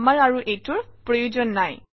আমাৰ আৰু এইটোৰ প্ৰয়োজন নাই